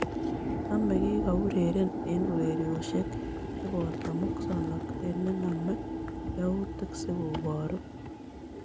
Taamee' kigo ureren eng' ureryosiek chebooto musooknateet ne name yawuutik si kobuuru.